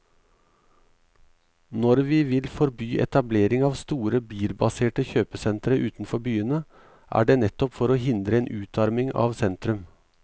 Når vi vil forby etablering av store, bilbaserte kjøpesentre utenfor byene, er det nettopp for å hindre en utarming av sentrum.